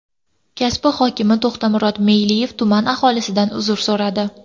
Kasbi hokimi To‘xtamurod Meyliyev tuman aholisidan uzr so‘radi.